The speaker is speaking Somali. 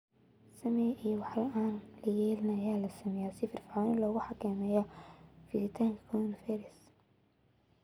Samee iyo wax aan la yeelin ayaa la sameeyay si si firfircoon loogu xakameeyo fiditaanka coronavirus